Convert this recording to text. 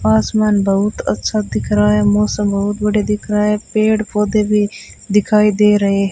आसमान बहुत अच्छा दिख रहा है मौसम बहुत बढ़िया दिख रहा है पेड़ पौधे भी दिखाई दे रहे --